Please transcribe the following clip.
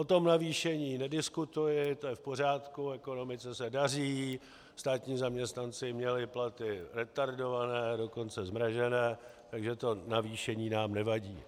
O tom navýšení nediskutuji, to je v pořádku, ekonomice se daří, státní zaměstnanci měli platy retardované, dokonce zmrazené, takže to navýšení nám nevadí.